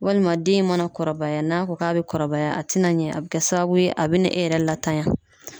Walima den in mana kɔrɔbaya ,n'a ko k'a be kɔrɔbaya a te na ɲɛ a be kɛ sababu ye a be na e yɛrɛ latanya.